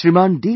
Shriman D